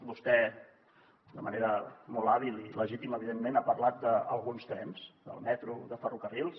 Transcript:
vostè de manera molt hàbil i legítima evidentment ha parlat d’alguns trens del metro de ferrocarrils